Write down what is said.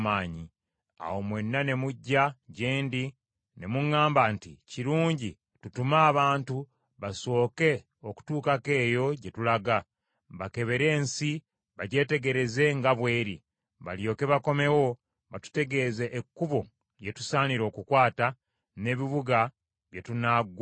Awo mwenna ne mujja gye ndi, ne muŋŋamba nti, “Kirungi tutume abantu basooke okutuukako eyo gye tulaga, bakebere ensi bagyetegereze nga bw’eri; balyoke bakomewo batutegeeze ekkubo lye tusaanira okukwata, n’ebibuga bye tunaggukako.”